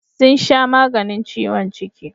Sun sha maganin ciwon ciki.